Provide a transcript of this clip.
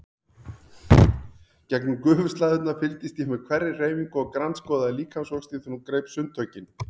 Gegnum gufuslæðurnar fylgdist ég með hverri hreyfingu og grandskoðaði líkamsvöxtinn þegar hún greip sundtökin.